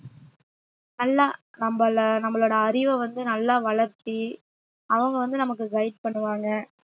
நல்லா நம்மளை நம்மளோட அறிவை வந்து நல்லா வளர்த்தி அவங்க வந்து நமக்கு guide பண்ணுவாங்க